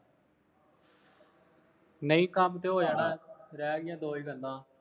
ਨਹੀਂ ਕੰਮ ਤੇ ਹੋ ਜਾਣਾ, ਰਹਿ ਗਈਆਂ ਦੋਏ ਗੱਲਾਂ